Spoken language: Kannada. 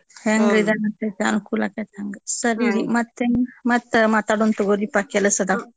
ಹೆಂಗ್ ಅನುಕೂಲ ಅಕ್ಕೇತ್ ಹಂಗ ಸರೀರಿ ಮತ್ತೇನ್ ಮತ್ತ ಮಾತಾದೋನ್ ತಗೋರೀಪಾ ಕೆಲಸ್ ಅದಾವ್.